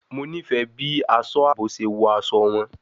Mo nifẹ bi aṣọ aabo ṣe wọ aṣọ wọn